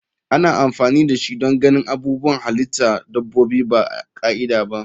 Ana amfani dashi don ganin abubuwan halitta dabbobi ba ka'ida ba.